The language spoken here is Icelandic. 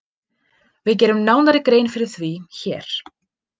Við gerum nánari grein fyrir því hér.